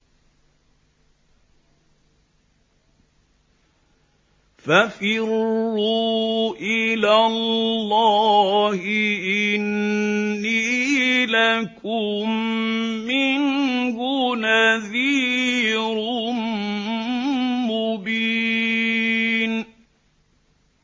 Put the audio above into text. فَفِرُّوا إِلَى اللَّهِ ۖ إِنِّي لَكُم مِّنْهُ نَذِيرٌ مُّبِينٌ